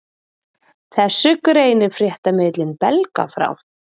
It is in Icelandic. Þessu greinir fréttamiðillinn Belga frá